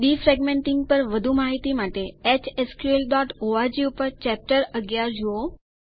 defragmenting પર વધુ માહિતી માટે hsqldbઓર્ગ ઉપર ચેપ્ટર 11 જુઓ